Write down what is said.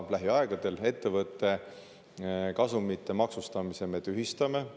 Lähiaegadel me ettevõtte kasumi maksustamise tühistame.